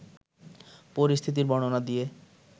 পরিস্থিতির বর্ণনা দিয়ে